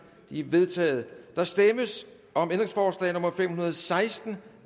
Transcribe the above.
de er vedtaget der stemmes om ændringsforslag nummer fem hundrede og seksten